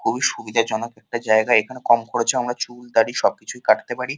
খুবই সুবিধা জনক একটা জায়গা এখানে আমরা খুবই কম খরচে চুল দাড়ি কাটতে পারি।